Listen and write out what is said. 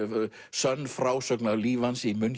sönn frásögn af lífi hans í